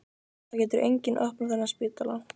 Það getur enginn opnað þennan spítala.